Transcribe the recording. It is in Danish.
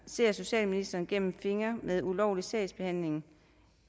ser socialministeren gennem fingre med ulovlig sagsbehandling